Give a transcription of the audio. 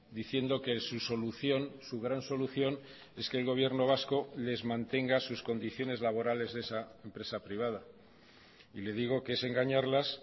diciendo que su solución su gran solución es que el gobierno vasco les mantenga sus condiciones laborales de esa empresa privada y le digo que es engañarlas